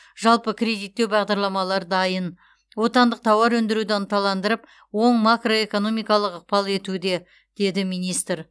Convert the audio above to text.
жалпы кредиттеу бағдарламалары дайын отандық тауар өндіруді ынталандырып оң макроэкономикалық ықпал етуде деді министр